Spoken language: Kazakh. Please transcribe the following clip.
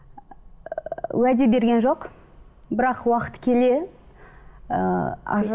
уәде берген жоқ бірақ уақыт келе ыыы